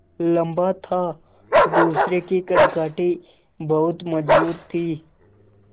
लम्बा था दूसरे की कदकाठी बहुत मज़बूत थी